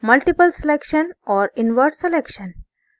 multiple selection और invert selection